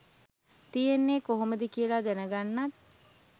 තියෙන්නේ කොහොමද කියලා දැනගන්නත්.